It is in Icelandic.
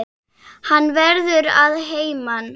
Hann verður að heiman.